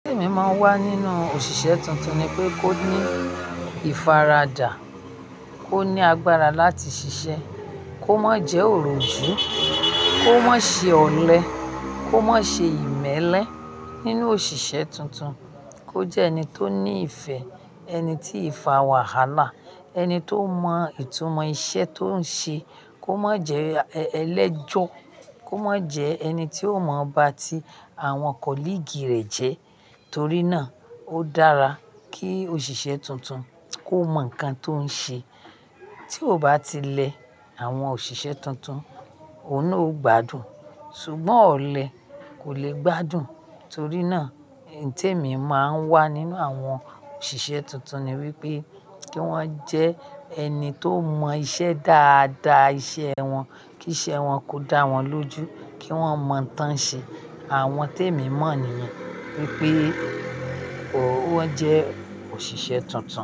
Tèmi máa ń wà nínú òṣìṣẹ́ tuntun ni pé kó ní ìfaradà, o ní agbára láti ṣiṣẹ́, kó má jẹ́ òròjú, kó má ṣe ọ̀lẹ, kó má ṣe ìmẹ́lẹ́ nínú òṣìṣẹ́ tuntun, kó jẹ́ ẹni tó ní ìfẹ́, ẹni tí ìfá wà hála, ẹni tó mọ ìtumọ̀ iṣẹ́ tó ń ṣe, kó má jẹ́ ẹlẹ́jọ́, kó má jẹ́ ẹni tí ò mọ ba tí àwọn colleague rẹ jẹ́. Torí náà, ó dára kí òṣìṣẹ́ tuntun kó mọ nǹkan tó ń ṣe. Tí ó bá ti lẹ àwọn òṣìṣẹ́ tuntun, òun naa o gbádùn. Ṣùgbọ́n ọ̀lẹ́ kò le gbádùn torí náà. Nǹtẹ̀mi máa ń wà nínú àwọn òṣìṣẹ́ tuntun ni wípé kí wọ́n jẹ́ ẹni tó mọ iṣẹ́ dáadáa iṣẹ́ wọn, kí iṣẹ́ wọn kó dá wọn lójú, kí wọ́n mọ ǹtàn ṣe. Àwọn tèmi mọ̀ nìyẹn wípé ó jẹ́ òṣìṣẹ́ tuntun.